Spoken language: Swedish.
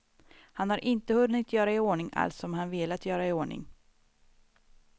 Han har inte hunnit göra i ordning allt som han velat göra i ordning.